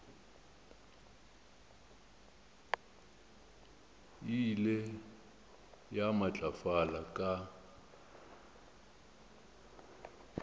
e ile ya matlafala ka